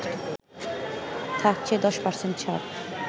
থাকছে ১০% ছাড়